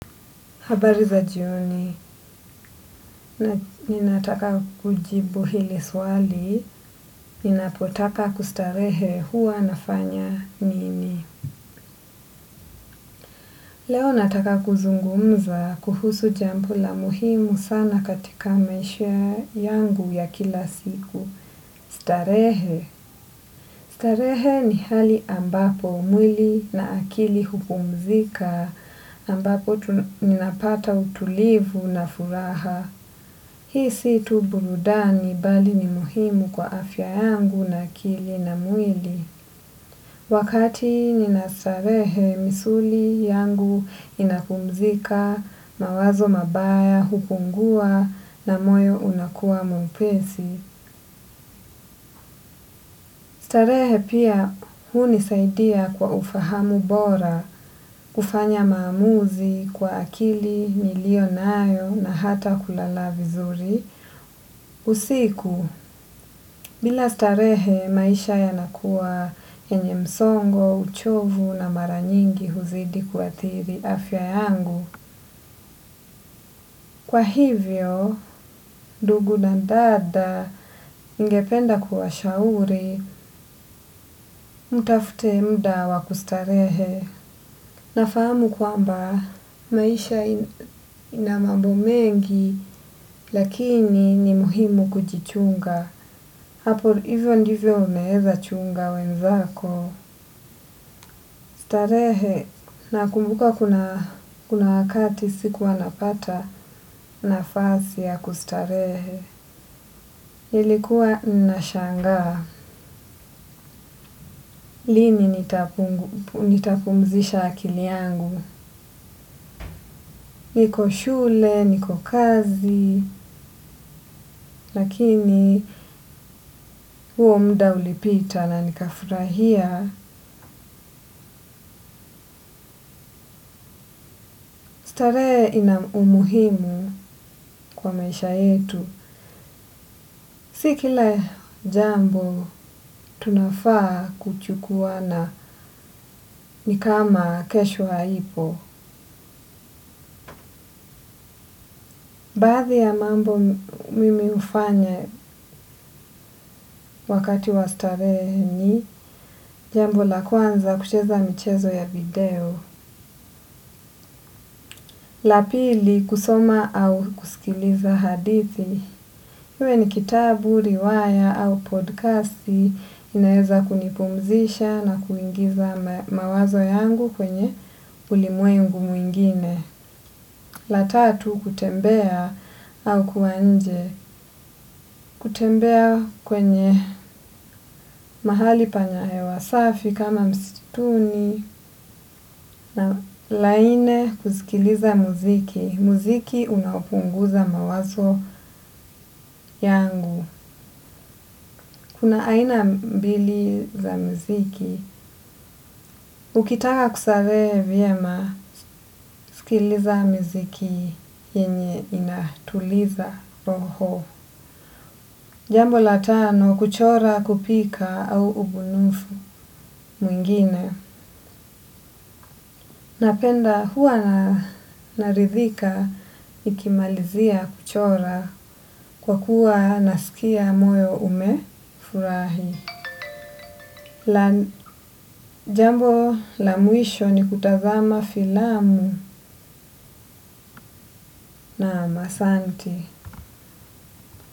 Habari za jioni, ninataka kujibu hili swali, ninapotaka kustarehe huwa nafanya nini. Leo nataka kuzungumza kuhusu jambo la muhimu sana katika maisha yangu ya kila siku. Starehe. Starehe ni hali ambapo umwili na akili hupumzika ambapo ninapata utulivu na furaha. Hii situ burudani bali ni muhimu kwa afya yangu na akili na mwili. Wakati nina starehe misuli yangu inapumzika, mawazo mabaya, hupungua na moyo unakuwa mwepesi. Starehe pia hunisaidia kwa ufahamu bora, ufanya maamuzi kwa akili, nilio nayo na hata kulala vizuri. Usiku, bila starehe maisha yanakuwa yenye msongo, uchovu na mara nyingi huzidi kuathiri afya yangu. Kwa hivyo, ndugu na dada ningependa kuwashauri, mtafute mda wa kustarehe. Nafahamu kwamba maisha ina mambo mengi lakini ni muhimu kujichunga. Hapo hivyo ndivyo unaeza chunga wenzako. Starehe nakumbuka kuna wakati sikuwa napata nafasi ya kustarehe. Nilikuwa nashangaa. Lini nitapumzisha akili yangu. Niko shule, niko kazi, lakini huo muda ulipita na nikafurahia. Starehe ina umuhimu kwa maisha yetu. Si kila jambo tunafaa kuchukuwana ni kama kesho haipo. Baadhi ya mambo mimi ufanya wakati wa starehe ni jambo la kwanza kucheza michezo ya video. La pili kusoma au kusikiliza hadithi. Hiwe ni kitabu, riwaya au podcasti inaeza kunipumzisha na kuingiza mawazo yangu kwenye ulimwengu mwingine. La tatu kutembea au kuwa nje. Kutembea kwenye mahali pana hewa safi kama mstuni na la nne kusikiliza muziki. Muziki unapunguza mawazo yangu. Kuna aina mbili za mziki, ukitaka kusaree vyema, sikiliza mziki yenye inatuliza roho. Jambo la tano, kuchora kupika au ubunifu mwingine. Napenda huwa narithika nikimalizia kuchora kwa kuwa nasikia moyo umefurahi. La jambo la mwisho ni kutazama filamu naam asanti.